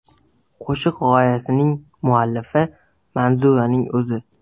Qo‘shiq g‘oyasining muallifi Manzuraning o‘zi.